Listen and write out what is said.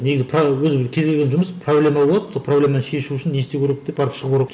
негізі өзі бір кез келген жұмыс проблема болады сол проблеманы шешу үшін не істеу керек деп барып шығу керек